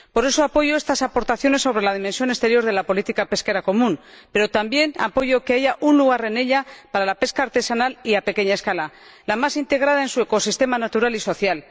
Por eso, apoyo estas aportaciones sobre la dimensión exterior de la política pesquera común, pero también apoyo que haya un lugar en ella para la pesca artesanal y de pequeña escala, la más integrada en su ecosistema natural y social.